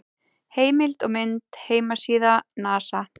Heimild og mynd: Heimasíða NASA.